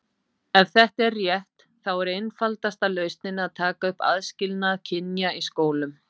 Ef þetta er rétt, þá er einfaldasta lausnin að taka upp aðskilnað kynja í skólum.